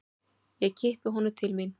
Ég kippi honum til mín.